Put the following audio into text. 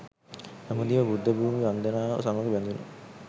දඹදිව බුද්ධ භූමි වන්දනාව සමග බැඳුන